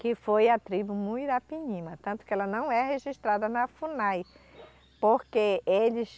Que foi a tribo Muirapinima, tanto que ela não é registrada na Funai, porque eles...